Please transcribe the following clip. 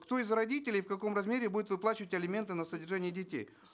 кто из родителей в каком размере будет выплачивать алименты на содержание детей